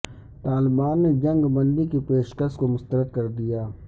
طالبان نے جنگ بندی کی پیشکش کو مسترد کردیا